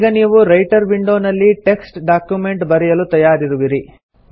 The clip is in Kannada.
ಈಗ ನೀವು ರೈಟರ್ ವಿಂಡೊ ನಲ್ಲಿ ಟೆಕ್ಸ್ಟ್ ಡಾಕ್ಯುಮೆಂಟ್ ಬರೆಯಲು ತಯಾರಿರುವಿರಿ